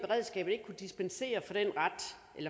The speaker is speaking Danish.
kunne dispensere